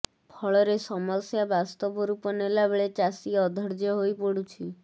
ଫଳରେ ସମସ୍ୟା ବାସ୍ତବ ରୂପ ନେଲା ବେଳେ ଚାଷୀ ଅଧୈର୍ଯ୍ୟ ହୋଇପଡୁଛି